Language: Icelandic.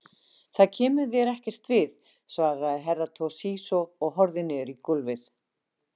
Það kemur þér ekkert við, svarði Herra Toshizo og horfði niður í gólfið.